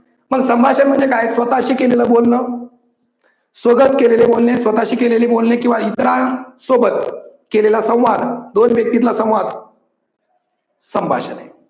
मग संभाषण म्हणजे काय? स्वतःशी केलेलं बोलन, स्वगत केलेले बोलणे स्वतःशी केलेले बोलणे किव्वा इतरां सोबत केलेला संवाद दोन व्यक्तितला संवाद संभाषण आहे.